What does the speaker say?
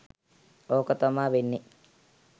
ඕක තමා වෙන්නේ